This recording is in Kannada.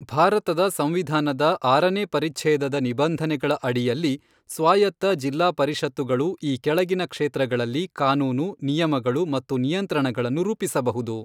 ಭಾರತದ ಸಂವಿಧಾನದ ಆರನೇ ಪರಿಚ್ಛೇದದ ನಿಬಂಧನೆಗಳ ಅಡಿಯಲ್ಲಿ, ಸ್ವಾಯತ್ತ ಜಿಲ್ಲಾ ಪರಿಷತ್ತುಗಳು ಈ ಕೆಳಗಿನ ಕ್ಷೇತ್ರಗಳಲ್ಲಿ ಕಾನೂನು, ನಿಯಮಗಳು ಮತ್ತು ನಿಯಂತ್ರಣಗಳನ್ನು ರೂಪಿಸಬಹುದು.